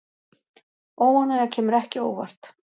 Óánægja kemur ekki á óvart